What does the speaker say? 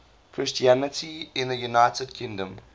christianity in the united kingdom